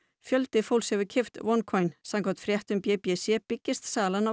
fjöldi fólks hefur keypt samkvæmt fréttum b b c byggist salan á